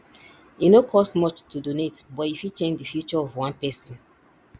e no cost much to donate but e fit change the future of one person